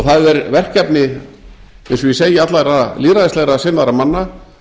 það er verkefni eins og ég segi allra lýðræðislega sinnaðra manna að reyna að